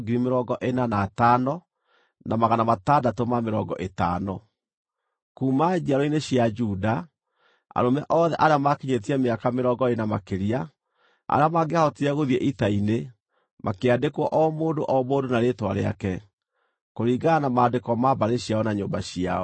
Kuuma njiaro-inĩ cia Juda: Arũme othe arĩa maakinyĩtie mĩaka mĩrongo ĩĩrĩ na makĩria, arĩa mangĩahotire gũthiĩ ita-inĩ, makĩandĩkwo o mũndũ o mũndũ na rĩĩtwa rĩake, kũringana na maandĩko ma mbarĩ ciao na nyũmba ciao.